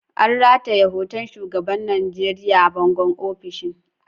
An rataye hoton shugaban Najeriya a bangon ofishin.